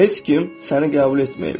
Heç kim səni qəbul etməyib.